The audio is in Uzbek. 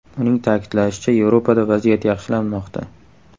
Uning ta’kidlashicha, Yevropada vaziyat yaxshilanmoqda.